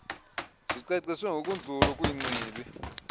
zicaciswe ngokunzulu kwingcibi